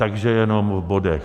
Takže jenom v bodech.